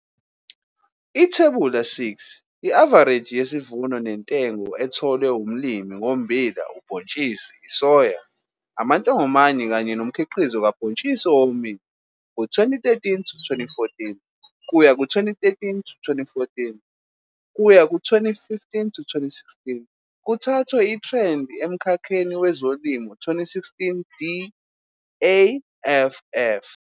Ithebula 6- I-avareji yesivuno nentengo etholwe umlimi, ngommbila ubhontshisi isoya, amantongomane kanye nomkhiqizo kabhontshisi owomile ngo-2013 to 2014 kuya ku-2013 to 2014 kuya ku-2015 to 2016, kuthathwe ku- Ithrendi eMkhakheni weZolimo 2016, DAFF.